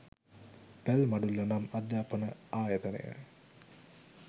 පැල්මඩුල්ල නම් අධ්‍යාපන ආයතනය